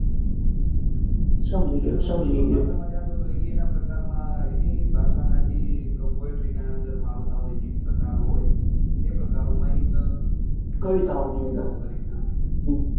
તો એ એના પ્રકાર માં એની ભાષા નાં જે poetry ના માં અંદર આવતા હોય જે પ્રકારો હોય એ કરી સકે છે.